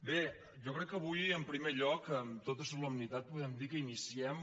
bé jo crec que avui en primer lloc amb tota solemnitat podem dir que iniciem